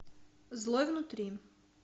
злой внутри